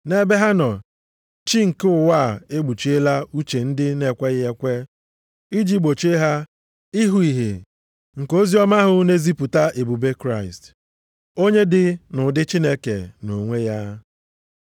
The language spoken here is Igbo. Nʼebe ha nọ, chi nke ụwa a ekpuchiela uche ndị na-ekweghị ekwe iji gbochie ha ịhụ ìhè nke oziọma ahụ na-ezipụta ebube Kraịst, onye dị nʼụdị Chineke nʼonwe ya.